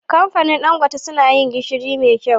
Kamfanin dan gote suna yin gishiri me kyau